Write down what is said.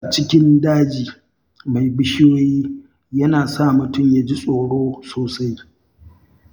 Tafiya a cikin daji mai bishiyoyi yana sa mutum ya ji tsoro sosai.